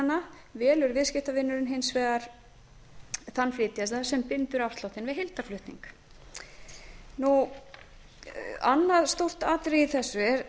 afsláttarkjaranna velur viðskiptavinurinn hins vegar þann flytjanda sem bindur afsláttinn við heildarflutning annað stórt atriði í